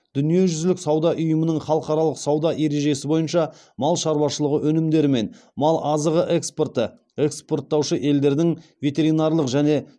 дүниежүзілік сауда ұйымының халықаралық сауда ережесі бойынша мал шаруашылығы өнімдері мен мал азығы экспорты экспорттаушы елдердің ветеринарлық және